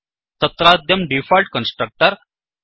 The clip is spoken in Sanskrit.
तत्राद्यं डीफोल्ट् कन्स्ट्रक्टर्